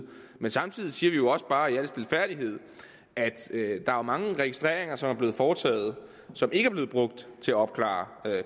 men samtidig siger vi jo også bare i al stilfærdighed at der er mange registreringer som er blevet foretaget og som ikke er blevet brugt til at opklare